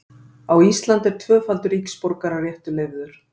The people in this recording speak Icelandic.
á íslandi er tvöfaldur ríkisborgararéttur leyfður